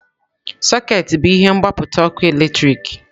Sọkeetị bụ ihe mgbapụta ọkụ eletrik.